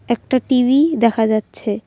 একটা টি_ভি দেখা যাচ্ছে।